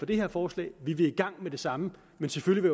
det her forslag vi vil i gang med det samme men selvfølgelig